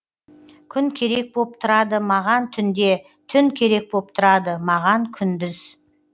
күн керек боп тұрады маған түнде түн керек боп тұрады маған күндіз